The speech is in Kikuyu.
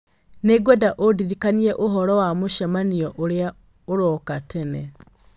nĩ ngwenda ũndirikanie ũhoro wa mũcemanio ũrĩa ũroka tene